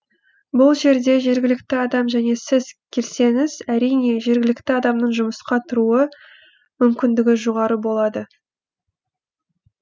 бұл жерде жергілікті адам және сіз келсеңіз әрине жергілікті адамның жұмысқа тұруы мүмкіндігі жоғары болады